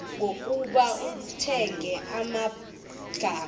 ngokuba kungekho magama